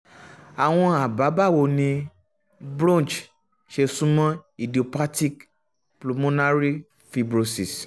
àwọn àbá - báwo ni bronch ṣe sún mọ́ idiopathic pulmonary fibrosis